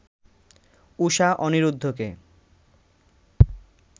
Usha অনিরুদ্ধকে